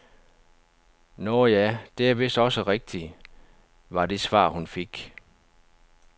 Nåh ja, det er vist også rigtigt, var det svar hun fik.